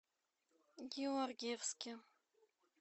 георгиевске